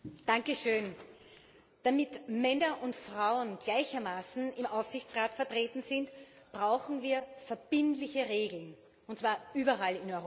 Herr Präsident! Damit Männer und Frauen gleichermaßen im Aufsichtsrat vertreten sind, brauchen wir verbindliche Regeln, und zwar überall in Europa.